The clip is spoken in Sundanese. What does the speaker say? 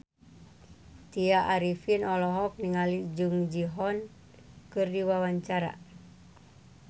Tya Arifin olohok ningali Jung Ji Hoon keur diwawancara